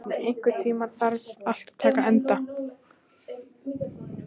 Bjarni, einhvern tímann þarf allt að taka enda.